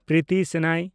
Priti Senoy